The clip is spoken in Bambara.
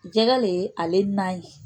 Jɛgɛ le ale na ye